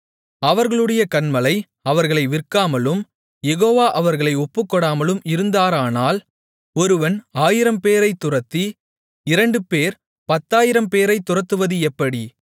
அவர்களுடைய கன்மலை அவர்களை விற்காமலும் யெகோவா அவர்களை ஒப்புக்கொடாமலும் இருந்தாரானால் ஒருவன் ஆயிரம்பேரைத் துரத்தி இரண்டுபேர் பத்தாயிரம்பேரைத் துரத்துவது எப்படி